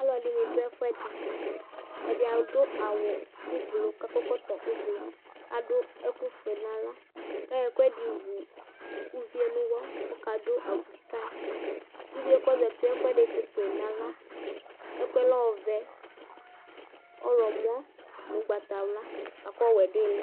Alʋɛdìní ɖu ɛfʋɛɖi Ɛɖì aɖu awu ʋblue kʋ akɔ ɛkɔtɔ ʋblue Aɖu ɛku fʋe ŋu aɣla kʋ ayɔ ɛkʋɛɖi wu ʋvie ŋu ʋwɔ kʋ ɔka ɖu abʋi kayi Ʋvie kʋ ɔzɛtie ɛkuɛɖi tsitu yi ŋu aɣla Ɛkʋɛ lɛ ɔvɛ, ɔwlɔmɔ ŋu ugbatawla akʋ ɔwɛ ɖu aɣili